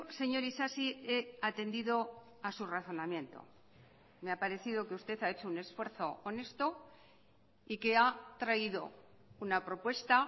señor isasi he atendido a su razonamiento me ha parecido que usted ha hecho un esfuerzo honesto y que ha traído una propuesta